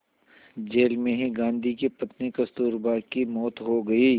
jail में ही गांधी की पत्नी कस्तूरबा की मौत हो गई